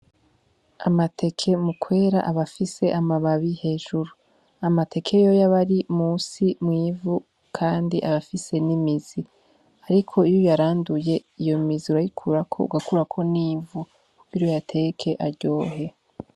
Amateke mukwera abafise amababi hejuru amateke yoy abari musi mwivu, kandi abafise n'imizi, ariko iyo yaranduye iyo miziura ayikurako ugakurako n'imvu kubiro yateke aryohe.